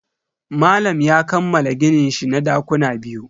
Malam ya kammala gininshi na dakuna biyu.